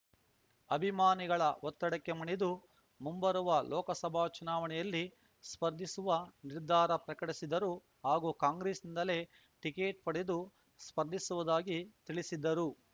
ಅಭಿಮಾನಿಗಳ ಒತ್ತಡಕ್ಕೆ ಮಣಿದು ಮುಂಬರುವ ಲೋಕಸಭಾ ಚುನಾವಣೆಯಲ್ಲಿ ಸ್ಪರ್ಧಿಸುವ ನಿರ್ಧಾರ ಪ್ರಕಟಿಸಿದರು ಹಾಗೂ ಕಾಂಗ್ರೆಸ್‌ನಿಂದಲೇ ಟಿಕೇಟ್ ಪಡೆದು ಸ್ಪರ್ಧಿಸುವುದಾಗಿ ತಿಳಿಸಿದ್ದರು